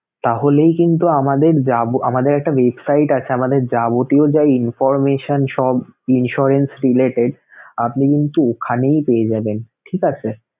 তাহলেই কিন্তু আমাদের যাব~ আমাদের একটা website আছে আমাদের যাবতীয় যা information সব insurance related আপনি কিন্তু ওখানেই পেয়ে যাবেন, ঠিক আছে!